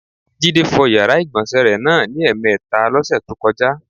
Jídé fo̩ yàrá ìgbò̩nsè̩ náà ní è̩mè̩e̩ta ló̩sè̩ tó ko̩já.